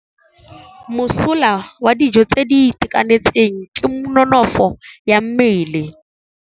Mosola wa dijô tse di itekanetseng ke nonôfô ya mmele.